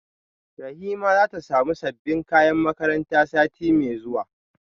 Rahima zata samu sabbin kayan makaranta sati mai zuwa